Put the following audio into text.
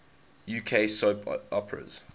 uk soap operas